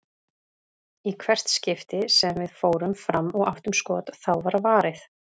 Í hvert skipti sem við fórum fram og áttum skot, þá var varið.